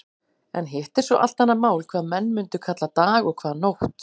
En hitt er svo allt annað mál hvað menn mundu kalla dag og hvað nótt.